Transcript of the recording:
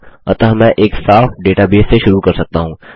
अतः मैं एक साफ़ डेटाबेस से शुरू कर सकता हूँ